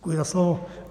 Děkuji za slovo.